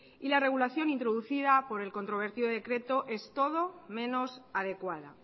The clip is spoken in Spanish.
y la regulación introducida por el controvertido decreto es todo menos adecuada